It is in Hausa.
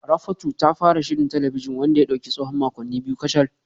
Rafatu ta fara shirin talabijin wanda ya dauki tsawon makonni biyu kacal